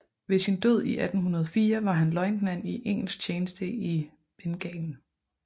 Ved sin død i 1804 var han løjtnant i engelsk tjeneste i Bengalen